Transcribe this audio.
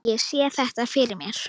Ég sé þetta fyrir mér.